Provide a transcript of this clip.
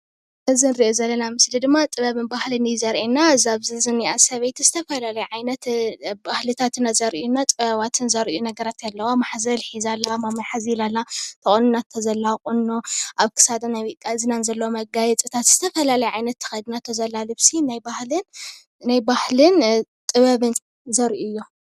እዚ ንሪኦ ዘለና ምስሊ ድማ ጥበብን ባህልን እዩ ዘርኤና፡፡ እዛ ኣብዚ ዝኒኣ ሰበይቲ ዝተፈላለየ ዓይነት ባህልታትና ዘርኢ ጥበባትን ዘርእዩ ነገራት ኣለዋ፡፡ ማሕዘል ሒዛ ኣላ፡፡ ማማይ ሓዚላ ኣላ፡፡ ተቆኒናቶ ዘላ ቁኖ ኣብ ክሳዳን ኣብ እዝናን ዘለው መጋየፅታት ዝተፈላለየ ዓይነት ተኸዲናቶ ዘላ ልብሲ ናይ ባህልን ጥበብን ዘርኢ እዮም፡፡